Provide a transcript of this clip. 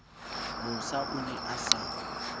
mosa o ne a sa